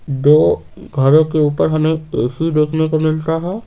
दो घरों के ऊपर हमें ए_सी देखने को मिलता है।